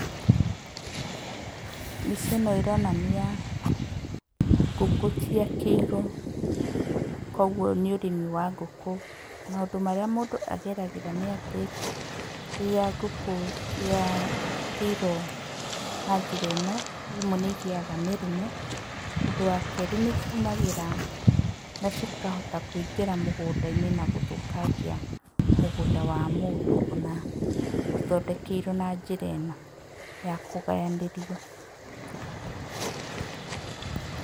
Mbica ĩno ironania ngũkũ ciakĩirwo, koguo nĩ ũrĩmi wa ngũkũ. Maũndũ marĩa mũndũ ageragĩra nĩ atĩ, rĩrĩa ngũkũ ciakĩirwo na njĩra ĩno rĩmwe nĩigĩyaga mĩrimũ. Ũndũ wa kerĩ nĩciumagĩra na cikahota kũingĩra mĩgũnda-inĩ na gũthũkangia mũgũnda wa mũndũ, ona cithondekeirwo na njĩra ĩno ya kũgayanĩrio.